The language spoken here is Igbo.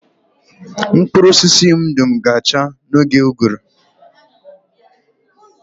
Mkpụrụ osisi m dum ga-acha n'oge ụgụrụ